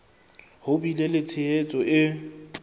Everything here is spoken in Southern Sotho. ho bile le tshehetso e